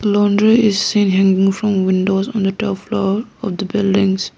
laundry is seen hanging from windows on the top floor of the buildings.